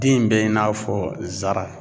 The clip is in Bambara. Den in bɛ i n'a fɔ zara.